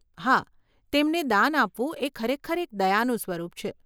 હા, તેમને દાન આપવું એ ખરેખર એક દયાનું સ્વરૂપ છે.